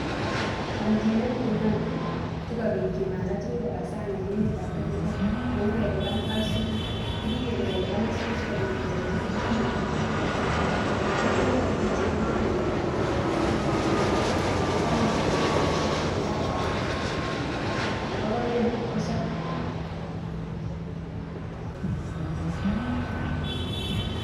Chomchinet nenyolu sikobit kimanda tuguk en emet nebo Kenya ko kou kelipan aisuruk ko kikele kelipan aisuruk sikobit kechomchi biik chemondoo tuguk koba sang' ake konyolu kechigil tuguk choton chetomo koba sang' kenai kele makoi kong'em sobetab chii yekakoba sang', makai kong'em kipkosobe.